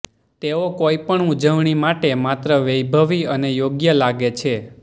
તેઓ કોઈ પણ ઉજવણી માટે માત્ર વૈભવી અને યોગ્ય લાગે છે